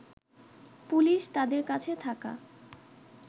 police তাদের কাছে থাকা